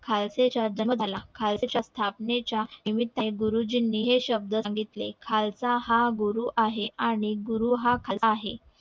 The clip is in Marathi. खालसे च्या खालसे च्या स्थापने च्या निमित्त गुरुजींनी हे शब्द सांगितले खालसा हा गुरु आहे आणि गुरु हा खालसा आहे